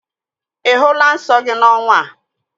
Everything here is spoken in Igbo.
Ị hụla nsọ gị n'ọnwa a?